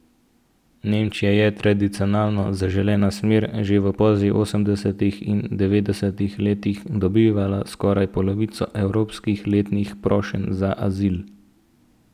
Nemčija je tradicionalno zaželena smer, že v poznih osemdesetih in devetdesetih letih je dobivala skoraj polovico evropskih letnih prošenj za azil.